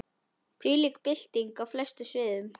Þvílík bylting á flestum sviðum.